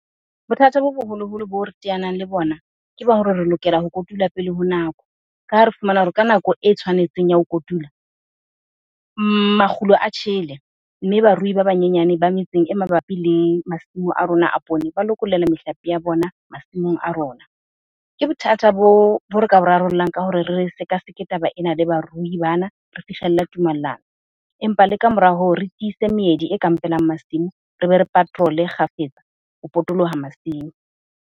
Bothata bo boholoholo boo re teanang le bona, ke ba hore re lokela ho kotula pele ho nako. Ka ha re fumana hore ka nako e tshwanetseng ya ho kotula, makgulo a tjhele mme barui ba banyenyane ba metseng e mabapi le masimo a rona a poone ba lokollela mehlape ya bona masimong a rona. Ke bothata bo re ka bo rarollang ka hore re sekaseke taba ena le baruti bana, re fihlella tumellano. Empa le ka mora hoo, re tiise meedi e kampelang masimo, re be re patrol-e kgafetsa ho potoloha masimo.